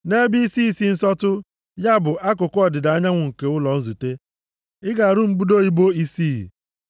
Nʼebe isi isi nsọtụ, ya bụ akụkụ ọdịda anyanwụ nke ụlọ nzute, ị ga-arụ mbudo ibo isii.